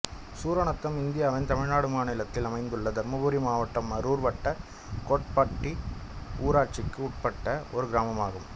சூரநத்தம் இந்தியாவின் தமிழ்நாடு மாநிலத்தில் அமைந்துள்ள தர்மபுரி மாவட்டம் அரூர் வட்டம் கோட்டப்பட்டி ஊராட்சிக்கு உட்பட்ட ஒரு கிராமம் ஆகும்